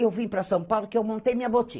Eu vim para São Paulo porque eu montei minha